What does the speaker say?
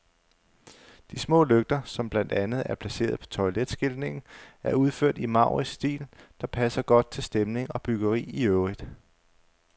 De små lygter, som blandt andet er placeret på toiletskiltningen, er udført i en maurisk stil, der passer godt til stemning og byggeri i øvrigt.